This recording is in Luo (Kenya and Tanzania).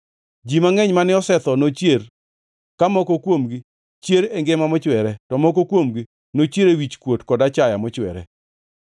Ji mangʼeny mane osetho nochier ka moko kuomgi chier e ngima mochwere, to moko kuomgi nochier e wichkuot kod achaya mochwere.